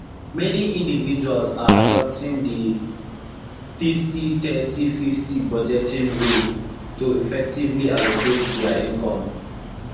many individuals are adopting di 503020 budgeting rule to effectively allocate dia income